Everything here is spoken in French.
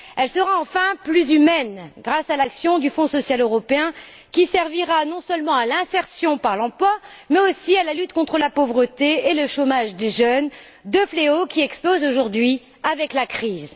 Elle sera, enfin, plus humaine, grâce à l'action du Fonds social européen, qui servira non seulement à l'insertion par l'emploi, mais aussi à la lutte contre la pauvreté et le chômage des jeunes, deux fléaux, qui explosent aujourd'hui avec la crise.